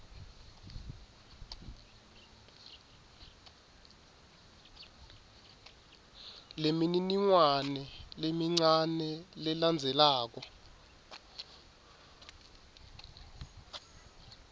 lemininingwane lemincane lelandzelako